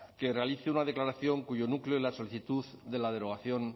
que realice una declaración cuyo núcleo es la solicitud de la derogación